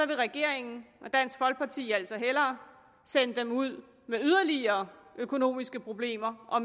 vil regeringen og dansk folkeparti altså hellere sende dem ud med yderligere økonomiske problemer og